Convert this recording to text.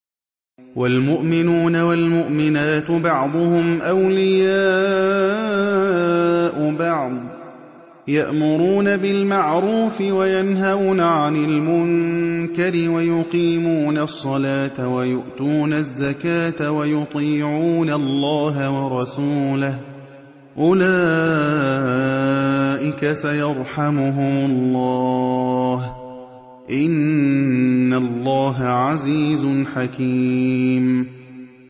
وَالْمُؤْمِنُونَ وَالْمُؤْمِنَاتُ بَعْضُهُمْ أَوْلِيَاءُ بَعْضٍ ۚ يَأْمُرُونَ بِالْمَعْرُوفِ وَيَنْهَوْنَ عَنِ الْمُنكَرِ وَيُقِيمُونَ الصَّلَاةَ وَيُؤْتُونَ الزَّكَاةَ وَيُطِيعُونَ اللَّهَ وَرَسُولَهُ ۚ أُولَٰئِكَ سَيَرْحَمُهُمُ اللَّهُ ۗ إِنَّ اللَّهَ عَزِيزٌ حَكِيمٌ